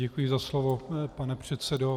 Děkuji za slovo, pane předsedo.